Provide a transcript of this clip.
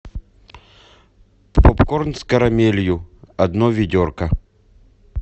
попкорн с карамелью одно ведерко